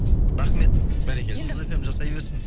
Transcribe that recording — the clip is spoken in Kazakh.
рахмет бәрекелді жұлдыз фм жасай берсін